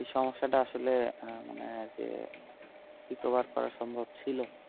এই সমস্যাটা আসলে মানে যে recover করা সম্ভব ছিল।